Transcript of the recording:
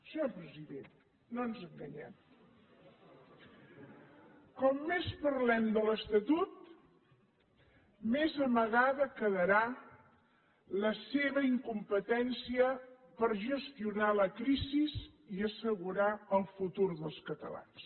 senyor president no ens enganyem com més parlem de l’estatut més amagada quedarà la seva incompetència per gestionar la crisi i assegurar el futur dels catalans